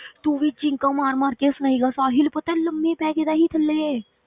ਤੂੰ ਵੀ ਚੀਖਾਂ ਮਾਰ ਮਾਰ ਕੇ ਹੱਸਣਾ ਸੀਗਾ, ਸਾਹਿਲ ਪਤਾ ਲੰਮੇ ਪੈ ਗਿਆ ਸੀ ਥੱਲੇ,